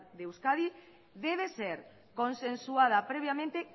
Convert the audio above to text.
de euskadi debe ser consensuada previamente